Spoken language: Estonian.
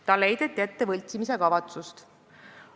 Talle heideti ette võltsimiskavatsust.